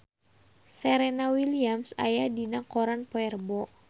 Serena Williams aya dina koran poe Rebo